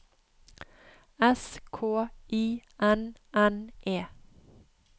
S K I N N E